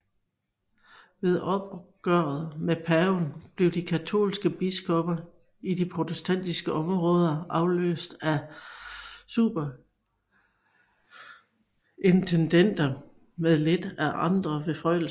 Ved opgøret med Paven blev de katolske biskopper i de protestantiske områder afløst af superintendenter med lidt andre beføjelser